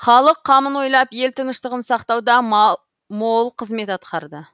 халық қамын ойлап ел тыныштығын сақтауда мол қызмет атқарады